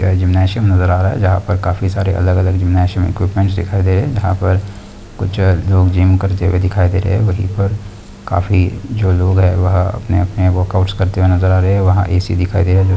gymnasium नजर आ रहा है जहा पर काफी सारे अलग अलग जिमनासिम इक्विपमेंट दिखाइ दे रहे है जहा पर जो है कुछ लोग जिम कर हुए दिखाई दे रहे है वही पर काफी जो लोग है वह अपने अपने वर्कऑउट्स करते हुए नजर आ रहे है वहाँ ए_सी_ दिखाई दे रहा है जो--